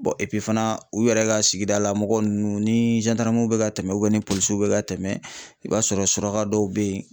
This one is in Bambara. fana u yɛrɛ ka sigida la mɔgɔ ninnu ni bɛ ka tɛmɛ u ni polisiw bɛ ka tɛmɛ i b'a sɔrɔ suraka dɔw be yen